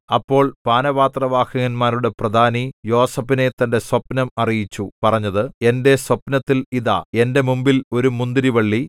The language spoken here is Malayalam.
അപ്പോൾ പാനപാത്രവാഹകന്മാരുടെ പ്രധാനി യോസേഫിനെ തന്റെ സ്വപ്നം അറിയിച്ചു പറഞ്ഞത് എന്റെ സ്വപ്നത്തിൽ ഇതാ എന്റെ മുമ്പിൽ ഒരു മുന്തിരിവള്ളി